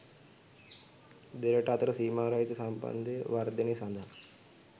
දෙරට අතර සීමා රහිත සම්බන්ධය වර්ධනය සඳහා